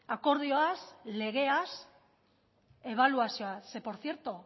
akordioaz legeaz ebaluazioaz ze por cierto